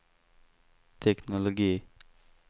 teknologi